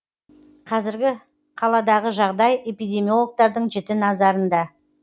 қазір қаладағы жағдай эпидемиологтардың жіті назарында